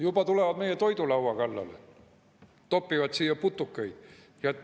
Juba tulevad meie toidulaua kallale, topivad siia putukaid.